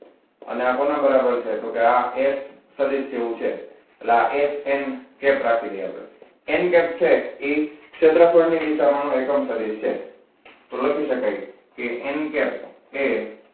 અને આ કોના બરાબર છે તો કે આ h સદિસ જેવું છે એટલે આ h n cap રાખી દઈએ આપણે n cap છે એ ક્ષેત્રફળ નુ પ્રમાણ માં એકમ સદિસ છે તો લખી શકાય કે n cap એ